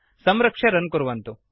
संरक्ष्य रन् कुर्वन्तु